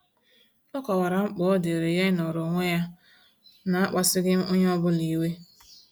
Ọ kọwara mkpa ọ diiri ya ịnọrọ onwe ya na-akpasughị onye ọbụla iwe.